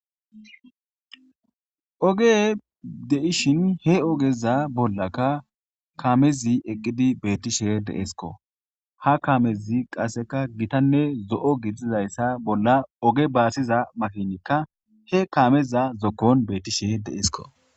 Oge dei'shin he ogeza bolla kamezi eqidi betishin dee'sko izi gitane zoo' gididaysa boll oge basida kame he kameza zokonbetishe dee'sko